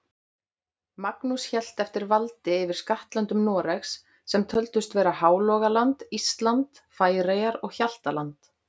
Magnús hélt eftir valdi yfir skattlöndum Noregs, sem töldust vera Hálogaland, Ísland, Færeyjar og Hjaltland.